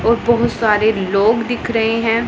और बहोत सारे लोग दिख रहे हैं।